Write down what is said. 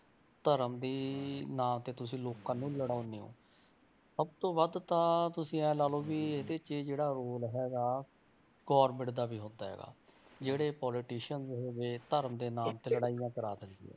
ਧਰਮ ਦੀ ਨਾਂ ਤੇ ਤੁਸੀਂ ਲੋਕਾਂ ਨੂੰ ਲੜਾਉਂਦੇ ਹੋ ਸਭ ਤੋਂ ਵੱਧ ਤਾਂ ਤੁਸੀਂ ਇਹ ਲਾ ਲਓ ਵੀ ਇਹਦੇ 'ਚ ਜਿਹੜਾ role ਹੈਗਾ government ਦਾ ਵੀ ਹੁੰਦਾ ਹੈਗਾ, ਜਿਹੜੇ politician ਹੋ ਗਏ ਧਰਮ ਦੇ ਨਾਮ ਤੇ ਲੜਾਈਆਂ ਕਰਾ ਦਿੰਦੀ ਹੈ।